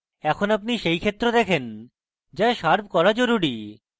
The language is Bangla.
এখন আপনি সেই ক্ষেত্র দেখেন যা শার্প করা জরুরী